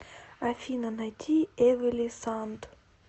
афина найди эмили санд